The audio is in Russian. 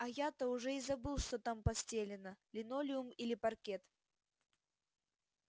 а то я уже и забыл что там постелено линолеум или паркет